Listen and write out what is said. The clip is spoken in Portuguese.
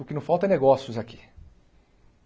O que não falta é negócios aqui.